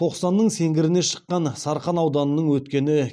тоқсанның сеңгіріне шыққан сарқан ауданның өткені